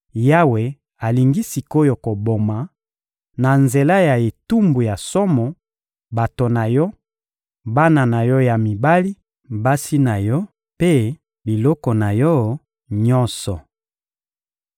Yawe alingi sik’oyo koboma, na nzela ya etumbu ya somo, bato na yo, bana na yo ya mibali, basi na yo mpe biloko na yo nyonso.